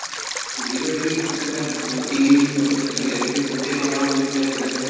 zero TB প্ৰচেষ্টা অ TB যিটো প্ৰচেষ্টা চলি আছে এইতোত গোটেই বাগানত গৈ কিনে ঘৰে ঘৰে